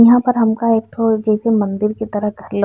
इहां पर हमका एक ठो जैसे मंदिर के तरख् लो --